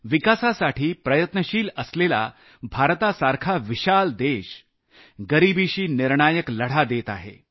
विकासासाठी प्रयत्नशील असलेला भारतासारखा विशाल देश गरिबीशी निर्णायक लढा देत आहे